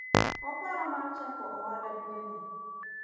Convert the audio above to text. oparo mar chako ohala dweni